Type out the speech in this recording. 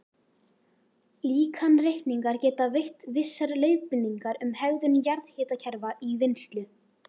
Líkanreikningar geta veitt vissar leiðbeiningar um hegðun jarðhitakerfa í vinnslu.